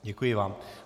Děkuji vám.